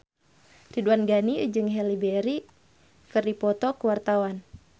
Ridwan Ghani jeung Halle Berry keur dipoto ku wartawan